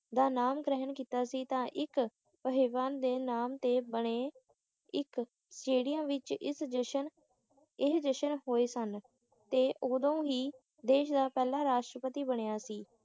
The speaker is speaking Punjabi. ਦਾ ਨਾਮ ਗ੍ਰਿਹਣ ਤਾਂ ਕੀਤਾ ਸੀ ਤਾਂ ਇੱਕ ਆਹਵਾਨ ਦੇ ਨਾਮ ਤੇ ਬਣੇ ਇੱਕ ਹੜਿਆਂ ਵਿੱਚ ਇਸ ਜਸ਼ਨ ਇਹ ਜਸ਼ਨ ਹੋਏ ਸਨ ਤੇ ਉਦੋਂ ਹੀ ਦੇਸ਼ ਦਾ ਪਹਿਲਾ ਰਾਸ਼ਟਰਪਤੀ ਬਣਿਆ ਸੀ